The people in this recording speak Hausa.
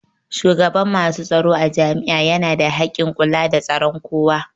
Shugaban masu tsaro a jami'a yana da hakkin kula da tsaron kowa